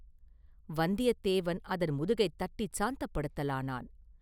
வந்தியத்தேவன் அதன் முதுகைத் தட்டிச் சாந்தப்படுத்தலானான்.